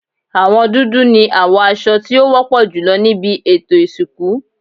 Àwọn dúdú ni àwọ aṣọ tí ó wọ́pọ̀ jùlọ níbí ètò ìsìnkú.